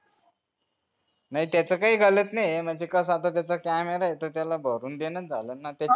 नाही त्याचा काही नाही मंग त्याचा असं camera तर त्याला भरून ज्ञानाचं झाला ना